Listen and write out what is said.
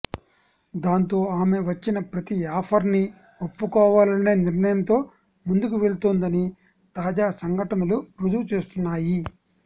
దాంతో ఆమె వచ్చిన ప్రతీ ఆఫర్ ని ఒప్పుకోవాలనే నిర్ణయంతో ముందుకు వెళ్తోందని తాజా సంఘటనులు రుజువుచేస్తున్నాయి